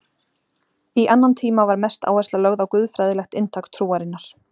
Í annan tíma var mest áhersla lögð á guðfræðilegt inntak trúarinnar.